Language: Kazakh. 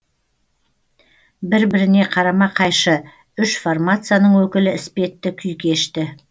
бір біріне қарама қайшы үш формацияның өкілі іспетті күй кешті